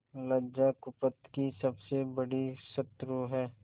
लज्जा कुपथ की सबसे बड़ी शत्रु है